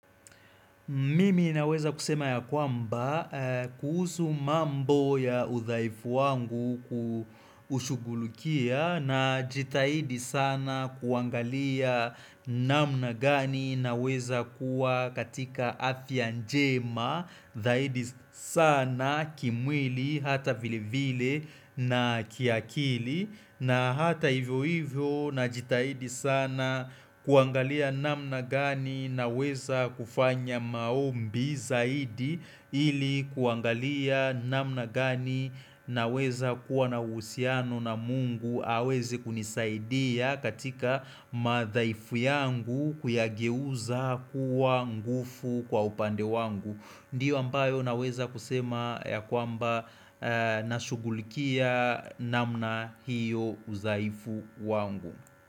Mimi naweza kusema ya kwamba kuhusu mambo ya udhaifu wangu kushughulikia najitahidi sana kuangalia namna gani naweza kuwa katika afya njema zaidi sana kimwili hata vile vile na kiakili na hata hivyo hivyo najitahidi sana kuangalia namna gani naweza kufanya maombi zaidi ili kuangalia namna gani naweza kuwa na uhusiano na mungu aweze kunisaidia katika madhaifu yangu kuyageuza kuwa nguvu kwa upande wangu. Ndiyo ambayo naweza kusema ya kwamba na shugulikia namna hiyo udhaifu wangu.